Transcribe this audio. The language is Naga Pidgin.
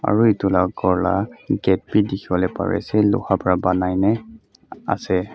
aro etula kor la gate bi dikipole pari ase loha para banai nae ase.